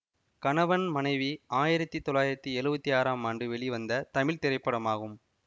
கணவன் மனைவி ஆயிரத்தி தொள்ளாயிரத்தி எழுவத்தி ஆறாம் ஆண்டு வெளிவந்த தமிழ் திரைப்படமாகும்